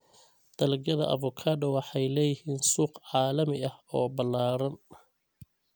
Dalagyada avocado waxay leeyihiin suuq caalami ah oo ballaaran.